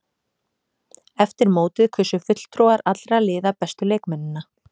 Eftir mótið kusu fulltrúar allra liða bestu leikmennina.